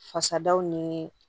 Fasadaw ni